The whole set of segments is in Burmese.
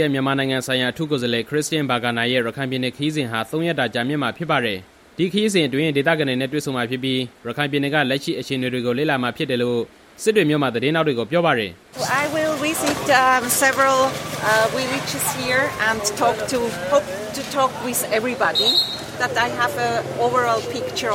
ရဲ့ မြန်မာနိုင်ငံဆိုင်ရာ အထူးကိုယ်စားလှယ် ခရစ်စတင်းဘာဂနာရဲ့ ရခိုင်ပြည်နယ်ခရီးစဉ်ဟာ သုံးရက်ကြာမြင့်မှာဖြစ်ပါတယ်။ ဒီခရီးစဉ်အတွင်း ဒေသခံတွေနဲ့တွေ့ဆုံမှာဖြစ်ပြီး ရခိုင်ပြည်နယ်က လက်ရှိအခြေအနေတွေကို လေ့လာမှာဖြစ်တယ်လို့ စစ်တွေမြို့မှာ သတင်းထောက်တွေကို ပြောပါတယ်။ "ကျွ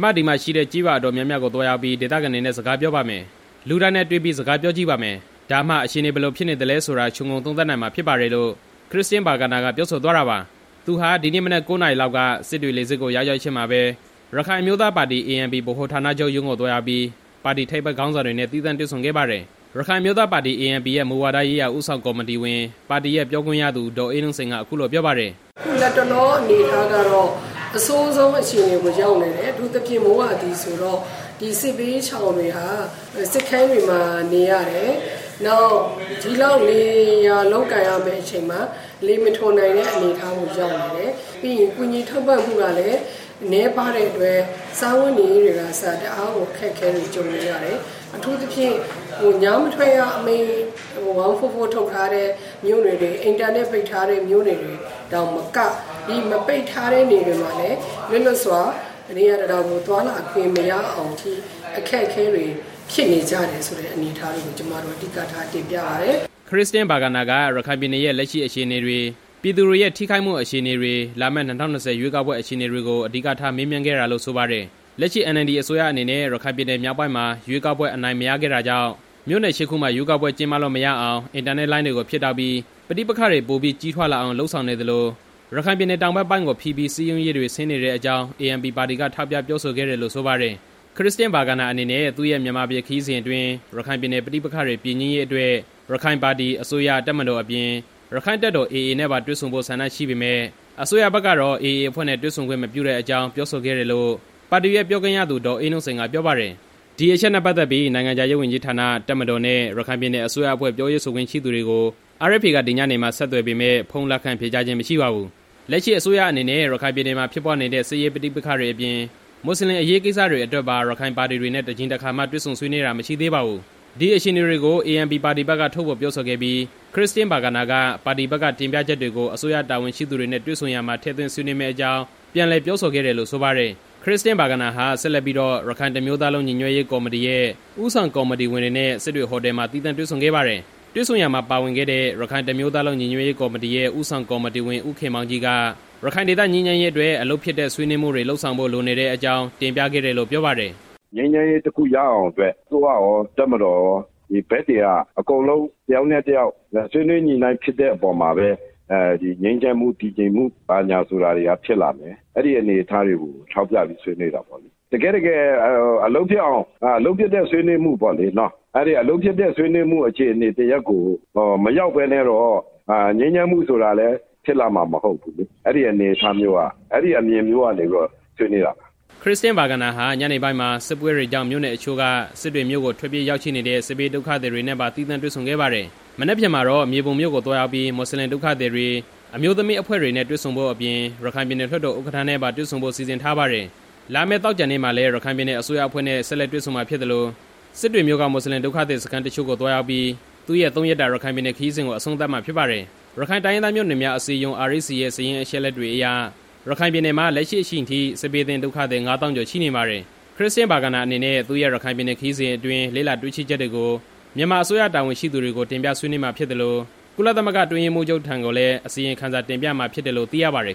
န်မ ဒီမှာရှိတဲ့ကျေးရွာအတော်များများကို သွားရောက်ပြီး ဒေသခံတွေနဲ့ စကားပြောပါမယ်။ လူတိုင်းနဲ့တွေ့ပြီး စကားပြောကြည့်ပါမယ်။ ဒါမှအခြေအနေ ဘယ်လိုဖြစ်နေသလဲဆိုတာ ခြံုံငုံသုံးသပ်နိုင်မှာဖြစ်ပါတယ်" သူဟာ ဒီနေ့မနက် ၉ နာရီလောက်က စစ်တွေလေဆိပ်ကို ရောက်ရောက်ချင်းမှာပဲ ရခိုင်အမျိုးသား ပါတီ (ANP) ဗဟိုဌာနချုပ်ရုံးကိုသွားရောက်ပြီး ပါတီထိပ်ပိုင်းခေါင်းဆောင်တွေနဲ့ သီးသန့်တွေ့ဆုံခဲ့ပါ တယ်။ ရခိုင်အမျိုးသားပါတီ (ANP) ရဲ့ မူဝါဒရေးရာဦးဆောင်ကော်မတီဝင်၊ ပါတီရဲ့ပြောခွင့်ရသူ ဒေါ်အေးနုစိန် က အခုလိုပြောပါတယ်။ "အခုလတ်တလော အနေအထားကတော့ အဆိုးဆုံးအခြေအနေကို ရောက်နေတယ်။ အထူးသဖြင့် မိုးရာသီဆိုတော့ ဒီစစ်ဘေးရှောင်တွေဟာ စခန်းတွေမှာနေရတယ်၊ နောက် ဒီလိုလယ်ယာလုပ်ကိုင် ရမယ့်အချိန်မှာ လယ်မထွန်နိုင်တဲ့အနေအထားကို ရောက်နေတယ်။ ပြီးရင် ကူညီထောက်ပံ့မှုကလည်း နည်းပါးတဲ့အတွက် စားဝတ်နေရေးကအစ တအားကို အခက်အခဲတွေကြုံနေရတယ်။ အထူးသဖြင့် ညမထွက်ရအမိန့် ပုဒ်မ-၁၄၄ ထုတ်ထားတဲ့မြို့နယ်တွေ၊ အင်တာနက်ပိတ်ထားတဲ့မြို့နယ်တွေတောင် မက ဒီလိုမပိတ်ထားတဲ့မြို့နယ်တွေမှာလည်း လွတ်လပ်စွာ နေရာတကာကို သွားလာခွင့်မရအောင်အထိ အခက်အခဲတွေဖြစ်နေကြတယ်ဆိုတဲ့ အနေအထားကို ကျွန်မတို့တင်ပြပါတယ်" ခရစ်စတင်းဘာဂနာက ရခိုင်ပြည်နယ်ရဲ့လက်ရှိအခြေအနေ၊ ပြည်သူတွေရဲ့ထိခိုက်မှုအခြေအနေ၊ လာမယ့် ၂၀၂၀ ရွေးကောက်ပွဲအခြေအနေတွေကို အဓိကမေးမြန်းခဲ့တာလို့ဆိုပါတယ်။ လက်ရှိ NLD အစိုးရအနေနဲ့ ရခိုင်ပြည်မြောက်ပိုင်းမှာ ရွေးကောက်ပွဲအနိုင်မရခဲ့တာကြောင့် မြို့နယ် ရှစ်ခုမှာ ရွေးကောက်ပွဲကျင်းပလို့ မရအောင် အင်တာနက်လိုင်းတွေဖြတ်တောက်ပြီး ပဋိပက္ခတွေပိုပြီး ကြီးထွားအောင် လုပ်ဆောင်နေသလို ရခိုင်ပြည်တောင်ပိုင်းဘက်ကို ဖိပြီးစည်းရုံးရေးတွေ ဆင်းနေတဲ့အကြောင်း ANP ပါတီက ထောက်ပြပြောဆိုခဲ့တယ်လို့ ဆိုပါတယ်။ ခရစ်စတင်းဘာဂနာအနေနဲ့ သူ့ရဲ့မြန်မာပြည်ခရီးစဉ်အတွင်း ရခိုင်ပြည်နယ်ပဋိပက္ခ ပြေငြိမ်းရေးအတွက် ရခိုင်ပါတီ၊ အစိုးရ၊ တပ်မတော်အပြင် ရက္ခိုင့်တပ်တော်(AA)နဲ့ပါ တွေ့ဖို့ဆန္ဒရှိပေမယ့် အစိုးရက AA အဖွဲ့နဲ့ တွေ့ဆုံခွင့်မပြုတဲ့အကြောင်း ပြောဆိုခဲ့တယ်လို့ ပါတီရဲ့ပြောခွင့်ရသူ ဒေါ်အေးနုစိန် က ပြောပါတယ်။ ဒီအချက်နဲ့ပတ်သက်လို့ နိုင်ငံခြားရေးဝန်ကြီးဌာန၊ တပ်မတော်နဲ့ ရခိုင်ပြည်နယ်အစိုးရ ပြောရေး ဆိုခွင့်ရှိသူတွေကို RFA က ဒီညနေမှာ ဆက်သွယ်ပေမယ့် ဖုန်းလက်ခံဖြေကြားခြင်းမရှိပါဘူး။ လက်ရှိ အစိုးရအနေနဲ့ ရခိုင်ပြည်နယ်မှာဖြစ်ပွားနေတဲ့ စစ်ရေးပဋိပက္ခတွေအပြင် မွတ်စလင်အရေးကိစ္စတွေ အတွက်ပါ ရခိုင်ပါတီတွေနဲ့ တစ်ကြိမ်တစ်ခါမှ တွေ့ဆုံဆွေးနွေးတာ မရှိသေးပါဘူး။ ဒီအခြေအနေတွေ ANP ပါတီဘက်က ထုတ်ဖော်ပြောဆိုခဲ့ပြီး ခရစ်စတင်းဘာဂနာက ပါတီဘက်က တင်ပြချက်တွေကို အစိုးရတာဝန်ရှိသူတွေနဲ့တွေ့ဆုံရာမှာ ထည့်သွင်းဆွေးနွေးမယ့်အကြောင်း ပြန်လည်ပြောဆိုခဲ့တယ်လို့ ဆိုပါတယ်။ ခရစ်စတင်းဘာဂနာဟာ ဆက်လက်ပြီး ရခိုင်တစ်မျိုးသားလုံး ညီညွတ်ရေးကော်မတီရဲ့ ဦးဆောင်ကော်မတီဝင်တွေနဲ့ စစ်တွေ ဟိုတယ်မှာ သီးသန့်တွေ့ဆုံခဲ့ပါတယ်။ တွေ့ဆုံရာမှာပါဝင်ခဲ့တဲ့ ရခိုင်တစ်မျိုးသား လုံးညီညွတ်ရေးကော်မတီရဲ့ ဦးဆောင်ကော်မတီဝင် ဦးခင်မောင်ကြီးက ရခိုင်ဒေသငြိမ်းချမ်းရေးအတွက် အလုပ်ဖြစ်တဲ့ဆွေးနွေးမှုတွေ လုပ်ဆောင်ဖို့ လိုနေတဲ့အကြောင်း တင်ပြခဲ့တယ်လို့ ပြောပါတယ်။ "ငြိမ်းချမ်းရေးတစ်ခု ရအောင်အတွက် အစိုးရရော၊ တပ်မတော်ရော ဒီဘက်တွေကအကုန်လုံး တစ်ယောက်နဲ့တစ်ယောက် ဆွေးနွေးညှိနှိုင်းဖြစ်တဲ့အပေါ်မှာပဲ ငြိမ်းချမ်းမှု၊ တည်ငြိမ်မှုဘာညာ ဆိုတာတွေက ဖြစ်လာမယ်။ အဲဒီအနေအထားတွေကို ထောက်ပြပြီး ဆွေးနွေးတာပါ။ တကယ့် တကယ်အလုပ်ဖြစ်အောင်၊ အလုပ်ဖြစ်တဲ့ဆွေးနွေးမှုပေါ့လေနော် အဲဒီအလုပ်ဖြစ်တဲ့ ဆွေးနွေးမှုအခြေအနေတစ်ရပ်ကို မရောက်ဘဲနဲ့တော့ ငြိမ်းချမ်းမှုဆိုတာကလည်း ဖြစ်လာမှာ မဟုတ်ဘူးလေ။ အဲဒီအနေအထားမျိုးက၊ အဲဒီအမြင်မျိုးကနေပြီးတော့ ဆွေးနွေးတာပါ" ခရစ်စတင်းဘာဂနာဟာ ညနေပိုင်းမှာ စစ်ပွဲတွေကြောင့် မြို့နယ်အချို့က စစ်တွေမြို့ကို ထွက်ပြေး ရောက်ရှိနေတဲ့ စစ်ဘေးဒုက္ခသည်တွေနဲ့ပါ သီးသန့်တွေ့ဆုံခဲ့ပါတယ်။ မနက်ဖြန်မှာတော့ မြေပုံမြို့ကို သွားရောက်ပြီး မွတ်စလင်ဒုက္ခသည်တွေ၊ အမျိုးသမီးအဖွဲ့တွေနဲ့ တွေ့ဆုံဖို့အပြင် ရခိုင်ပြည်နယ်လွှတ်တော် ဥက္ကဋ္ဌနဲ့ပါ တွေ့ဆုံဖို့ စီစဉ်ထားပါတယ်။ လာမယ့် သောကြာနေ့မှာလည်း ရခိုင်ပြည်နယ်အစိုးရနဲ့ ဆက်လက်တွေ့ဆုံမှာဖြစ်သလို စစ်တွေမြို့က မွတ်စလင်ဒုက္ခသည်စခန်းအချို့ကို သွားရောက်ပြီး သူ့ရဲ့သုံးရက်တာ ရခိုင်ပြည်နယ်ခရီးစဉ်ကို အဆုံးသတ်မှာဖြစ်ပါတယ်။ ရခိုင်တိုင်းရင်းသားမျိုးနွယ်များအစည်းအရုံး(REC)ရဲ့စာရင်းအချက်အလက်တွေအရ ရခိုင်ပြည်နယ်မှာ လက်ရှိအချိန်အထိ စစ်ဘေးသင့်ဒုက္ခသည် ငါးသောင်းကျော် ရှိနေပါတယ်။ ခရစ်စတင်းဘာဂနာအနေနဲ့ သူ့ရဲ့ ရခိုင်ပြည်နယ်ခရီးစဉ်အတွင်း လေ့လာတွေ့ရှိချက်တွေကို မြန်မာအစိုးရတာဝန်ရှိသူတွေကို တင်ပြဆွေးနွေးမှာဖြစ်သလို ကုလသမဂ္ဂ အတွင်းရေးမှူးချုပ်ထံကိုလည်း အစီရင်ခံစာတင်ပြမှာဖြစ်တယ်လို့ သိရပါတယ်